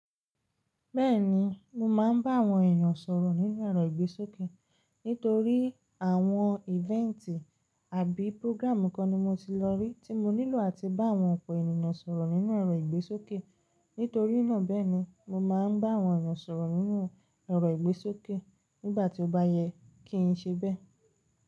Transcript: Bẹ́ẹ̀ni, mo máa ń bá àwọn ènìyàn sọ̀rọ̀ nínú ẹ̀rọ ìgbésókè. Nítorí àwọn event àbí program kan ni mo ti lọ rí tí mo nílò àti bá àwọn ọ̀pọ̀ ènìyàn sọ̀rọ̀ nínú ẹ̀rọ ìgbésókè. Nítorí náà bẹ́ẹ̀ ni, mo máa ń bá àwọn ènìyàn sọ̀rọ̀ nínú ẹ̀rọ ìgbésókè nígbà tí ó bá yẹ kí n ṣe bẹ́ẹ̀